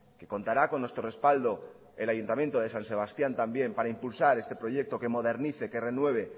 que contará con nuestro respaldo el ayuntamiento de san sebastián también para impulsar este proyecto que modernice que renueve